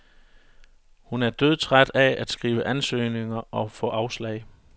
Hun er dødtræt af at skrive ansøgninger og få afslag.